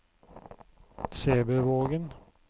Sæbøvågen